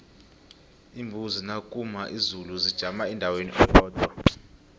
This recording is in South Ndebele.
iimbuzi nakuna izulu zijama endaweni eyodwa